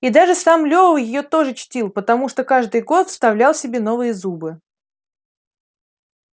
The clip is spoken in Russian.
и даже сам лева её тоже чтил потому что каждый год вставлял себе новые зубы